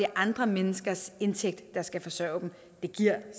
andre menneskers indtægt der skal forsørge dem det giver